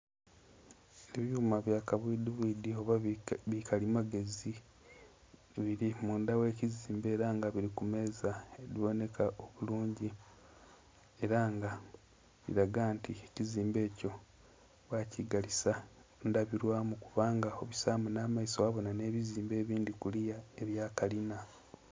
Ebyuma bi kabwidhi bwidhi oba bikalimagezi bili mundha ghe kizimbe era nga bili ku meeza bibonheka obulungi era nga kilaga nti ekizimbe ekyo bakigalisa ndhabilwamu lwa kubanga obulamu nha maiso gha bonha nhe bizimbe ebindhi kuliya ebya kalinha.